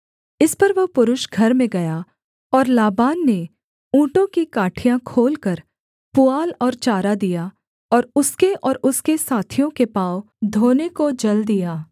इस पर वह पुरुष घर में गया और लाबान ने ऊँटों की काठियाँ खोलकर पुआल और चारा दिया और उसके और उसके साथियों के पाँव धोने को जल दिया